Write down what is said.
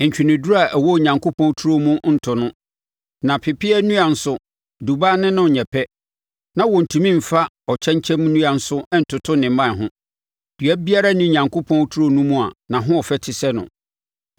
Ntweneduro a ɛwɔ Onyankopɔn turo mu nto no, na pepeaa nnua nso dubaa ne no nyɛ pɛ, na wɔntumi mfa ɔkyɛnkyɛn nnua nso ntoto ne mman ho, dua biara nni Onyankopɔn turo no mu a nʼahoɔfɛ te sɛ no.